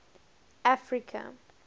africa